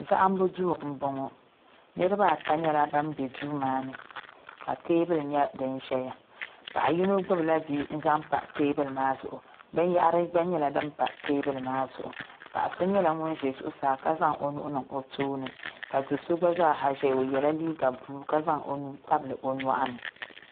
Zahimbu duu m boŋɔ niriba ata nyɛla ban be duu maani ka teebuli nyɛ din ʒɛya paɣa yino gbibi la bia n zaŋ pa teebuli maa zuɣu binyahari gba nyɛla din pa teebuli maa zuɣu paɣa so nyɛla ŋun za zuɣusaa ka zaŋ o nuhi niŋ o tooni ka do'so gba zaa ha zaya o yela liiga buluu ka zaŋ o nuu tabili o nyɔɣuni.